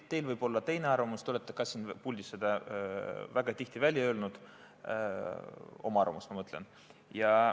Teil võib olla teine arvamus, te olete ka siin puldis seda väga tihti välja öelnud, oma arvamust, ma mõtlen.